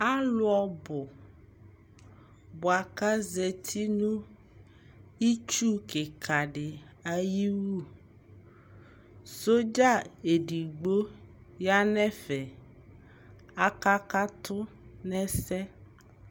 alʋ ɔbʋ bʋakʋ azati nʋ itsʋ kikaa di ayiwʋ, soldier ɛdigbɔ yanʋ ɛvɛ, akakatʋ nʋ ɛsɛ